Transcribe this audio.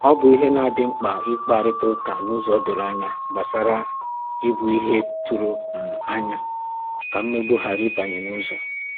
Ọ bụ ìhè na adị mkpa ikparịta ụka n’ụzọ doro ànyà gbasàrà ìbù ìhè a tụrụ um anya, ka mmegbu ghara ịbanye n’ụzọ